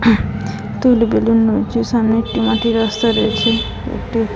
সামনে একটি মাটির রাস্তা দেখছেন একটি--